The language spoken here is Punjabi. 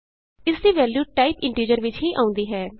ਇਸਦੀ ਵੈਲਯੂ ਟਾਈਪ ਇੰਟੀਜ਼ਰ ਵਿਚ ਹੀ ਆਉਂਦੀ ਹੈ